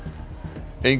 enginn